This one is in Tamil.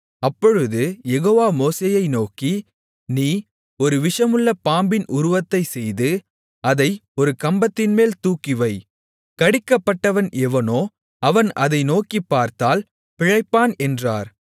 அப்பொழுது யெகோவா மோசேயை நோக்கி நீ ஒரு விஷமுள்ள பாம்பின் உருவத்தைச் செய்து அதை ஒரு கம்பத்தின்மேல் தூக்கிவை கடிக்கப்பட்டவன் எவனோ அவன் அதை நோக்கிப்பார்த்தால் பிழைப்பான் என்றார்